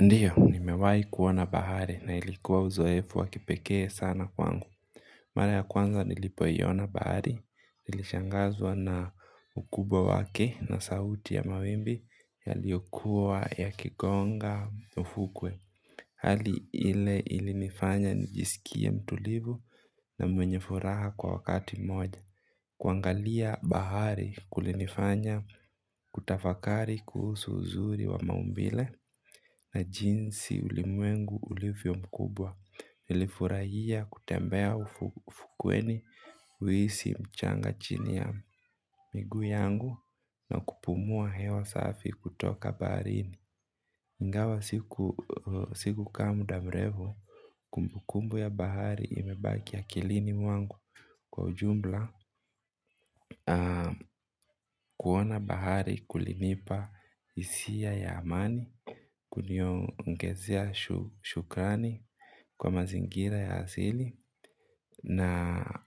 Ndiyo, nimewai kuona bahari na ilikuwa uzoefu wakipekee sana kwangu. Mara ya kwanza nilipoiona bahari, nilishangazwa na ukubwa wake na sauti ya mawimbi yaliyokuwa ya kigonga ufukwe. Hali ile ilinifanya nijisikie mtulivu na mwenye furaha kwa wakati mmoja. Kuangalia bahari kulinifanya kutafakari kuhusu uzuri wa maumbile na jinsi ulimwengu ulivyo mkubwa. Nilifurahia kutembea ufukweni kuhisi mchanga chini ya miguu yangu na kupumua hewa safi kutoka baharini ingawa siku sikukaaa muda mrefu kumbukumbu ya bahari imebaki akilini mwangu kwa ujumla kuona bahari kulinipa hisia ya amani kuniongezea shukani kwa mazingira ya asili na